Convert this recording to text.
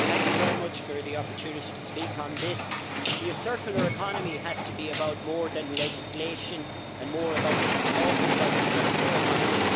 Madam President, thank you very much for the opportunity to speak on this. The circular economy has to be about more than legislation and about more than just talking about the circular economy.